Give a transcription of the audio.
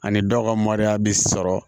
Ani dɔw ka mariya bɛ sɔrɔ